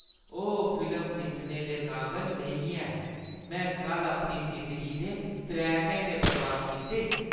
ओह् फिल्म दिक्खने दे काबल नेईं ऐ। में कल्ल अपनी जिंदगी दे त्रै घैंटे बर्बाद कीते।